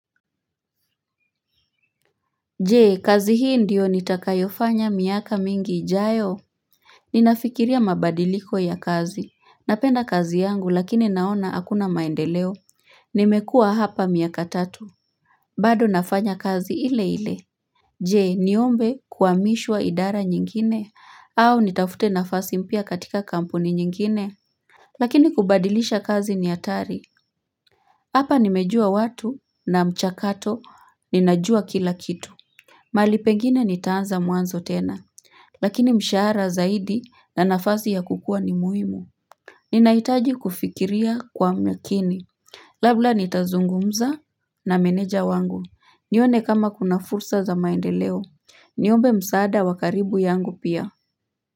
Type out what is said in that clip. Jee kazi hii ndiyo nitakayofanya miaka mingi ijayo Ninafikiria mabadiliko ya kazi napenda kazi yangu lakini naona hakuna maendeleo Nimekua hapa miaka tatu bado nafanya kazi ile ile Jee niombe kuhamishwa idara nyingine au nitafute nafasi mpya katika kampuni nyingine Lakini kubadilisha kazi ni hatari Hapa nimejua watu na mchakato ninajua kila kitu mahali pengine nitaanza mwanzo tena, lakini mshara zaidi na nafazi ya kukua ni muhimu. Ninahitaji kufikiria kwa makini. Labla nitazungumza na meneja wangu, nione kama kuna fursa za maendeleo. Niombe msaada wakaribu yangu pia.